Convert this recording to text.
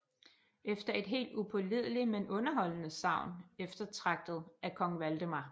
Efter et helt upålideligt men underholdende sagn eftertragtet af kong Valdemar